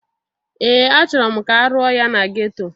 Ee! Achọrọ m ka arụọ ya na geto.